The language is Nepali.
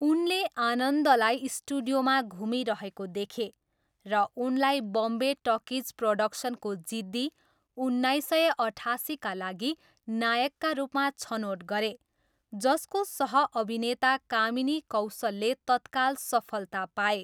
उनले आनन्दलाई स्टुडियोमा घुमिरहेको देखे र उनलाई बम्बे टकिज प्रोडक्सनको जिद्दी, उन्नाइस सय अठासीका लागि नायकका रूपमा छनोट गरे, जसको सह अभिनेता कामिनी कौशलले तत्काल सफलता पाए।